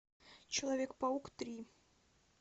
человек паук три